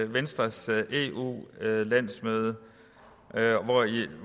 venstres eu landsmøde